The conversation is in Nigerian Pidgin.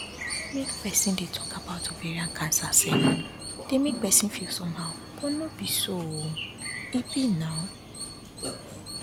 make persin dey talk about ovarian cancer sef dey make persin feel somehow but no be so um e be now